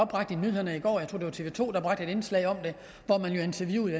bragt i nyhederne i går jeg tror det tv to man bragte et indslag hvor man jo interviewede